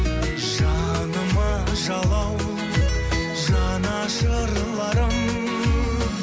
жаныма жалау жанашырларым